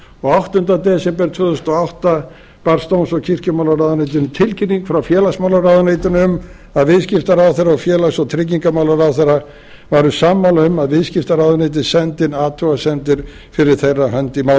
og áttunda desember tvö þúsund og átta barst dóms og kirkjumálaráðuneytinu tilkynning frá félagsmálaráðuneytinu um að viðskiptaráðherra og félags og tryggingamálaráðherra væru sammála um að viðskiptaráðuneytið sendi inn athugasemdir fyrir þeirra hönd í